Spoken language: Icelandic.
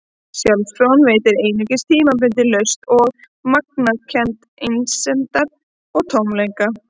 Sjálfsfróun veitti einungis tímabundna lausn og magnaði kennd einsemdar og tómleika.